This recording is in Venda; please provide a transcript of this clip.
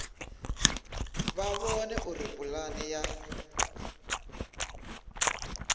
vha vhone uri pulane ya